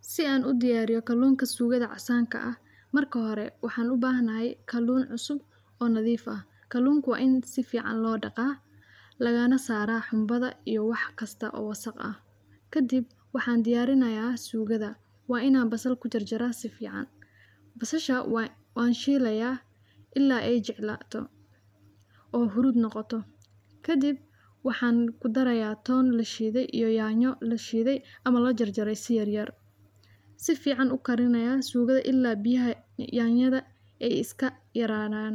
Si aan u diyaariyo kaloonka suugada casanka ah. Marka hore waxaan u baahnaayay kaloon cusub oo nadiif ah. Kaloonku waa in si fiican loo dhaqaa lagaana saaraa xunbada iyo wax kasta oo wasakh ah. Ka dib waxaan diyaarinayaa suugada waa inaa basal ku jarjaray si fiican. Basasha waa waan sheelayaa illaa ay jeclaaato oo hurud noqoto. Ka dib waxaan ku darayaa toon la shiiday iyo yaanyo la shiiday ama la jarjaray si yar yar. Si fiican u karinayaa suugada illaa biyaha yaanyada ay iska yaraanaan.